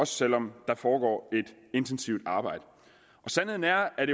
selv om der foregår et intensivt arbejde sandheden er at